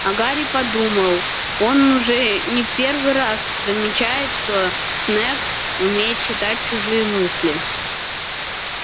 а гарри подумал он уже не первый раз замечает что снегг умеет читать чужие мысли